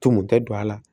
Tunu tɛ don a la